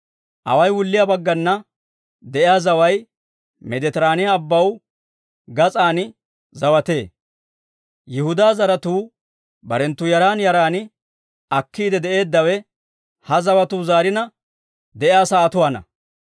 Away wulliyaa baggana de'iyaa zaway Meeditiraaniyaa Abbaw gas'an zawatee. Yihudaa zaratuu barenttu yaran yaran akkiide de'eeddawe ha zawatuu zaarina de'iyaa sa'atuwaanna.